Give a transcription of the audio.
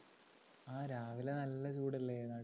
ആ രാവിലെ നല്ല ചൂടല്ലേ